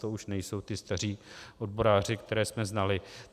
To už nejsou ti staří odboráři, které jsme znali.